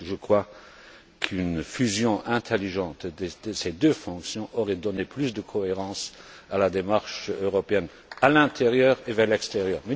parce que je crois qu'une fusion intelligente de ces deux fonctions aurait donné plus de cohérence à la démarche européenne, à l'intérieur comme à l'extérieur.